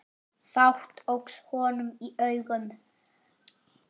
Fátt óx honum í augum.